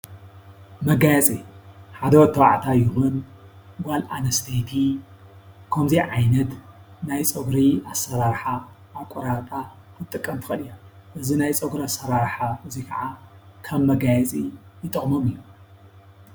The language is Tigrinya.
መጋየፂ ሓደ ወዲ ተባዕታይ ይኹን ጓል ኣንስተይቲ ከምዚ ዓይነት ናይ ፀጉሪ ኣሰራርሓ ኣቆራርፃ ክትጥቀም ትኽእል እያ እዚ ናይ ፀጉሪ ኣሰራርሓ እዚ ከዓ ከም መጋየፂ ይጠቅሞም እዪ ።